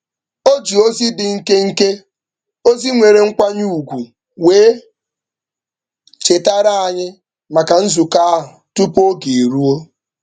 O ji ozi dị nkenke, ozi nwere nkwanye ugwu wee chetara anyị maka nzukọ ahụ tupu oge eruo.